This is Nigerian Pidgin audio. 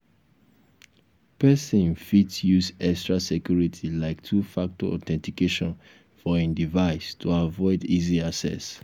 person fit use extra security like 2 factor authentication for im device to avoid easy access